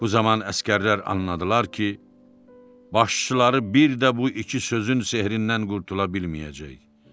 Bu zaman əsgərlər anladılar ki, başçıları bir də bu iki sözün sehrindən qurtula bilməyəcək.